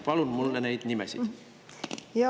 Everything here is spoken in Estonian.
Palun neid nimesid!